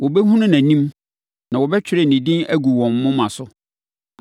Wɔbɛhunu nʼanim na wɔbɛtwerɛ ne din agu wɔn moma so.